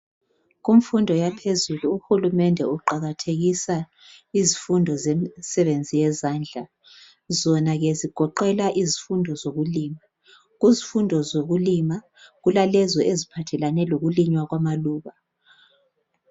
Kumfundo yaphezulu uhulumende uqakathekisa izifundo zemisebenzi yezandla, zonake zigoqela izifundo zokulima. Kuzifundo zokulima kulalezo eziphathelane lokulinywa kwamalokhu.